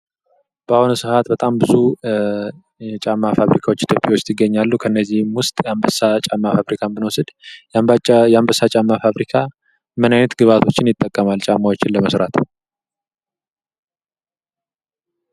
በአሁኑ ሰዓት በጣም ብዙ የጫማ ፋብሪካዎች ኢትዮጵያ ውስጥ ይገኛሉ ። ከእነዚህም ውስጥ የአምበሳ ጫማ ፋብሪካን ብንወስድ የአምበሳ ጫማ ፋብሪካ ምን አይነት ግብአቶችን ይጠቀማል ጫማዎችን ለመስራት?